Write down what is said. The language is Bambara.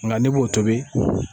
Nka ne b'o tobi.